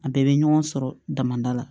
A bɛɛ bɛ ɲɔgɔn sɔrɔ damada la